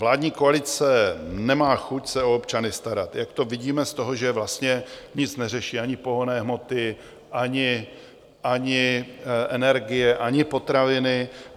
Vládní koalice nemá chuť se o občany starat, jak to vidíme z toho, že vlastně nic neřeší - ani pohonné hmoty, ani energie, ani potraviny.